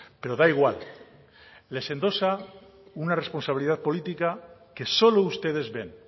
pero da igual les endosa una responsabilidad política que solo ustedes ven